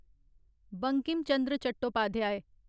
Bankim Chandra Chattopadhyay